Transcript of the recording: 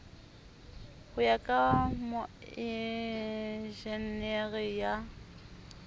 ho ya ka moenjenere ya